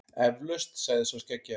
Eflaust, sagði sá skeggjaði.